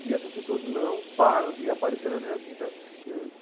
E essas pessoas não param de aparecer na minha vida.